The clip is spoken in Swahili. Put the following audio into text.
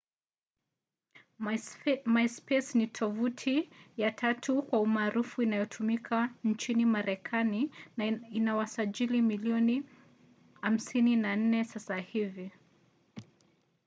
myspace ni tovuti ya tatu kwa umaarufu inayotumika nchini marekani na ina wasajili milioni 54 sasa hivi